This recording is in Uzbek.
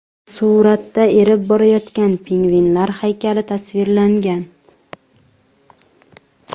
Suratda erib borayotgan pingvinlar haykali tasvirlangan.